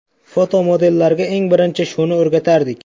Fotomodellarga eng birinchi shuni o‘rgatardik.